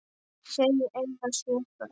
Þau eiga sjö börn.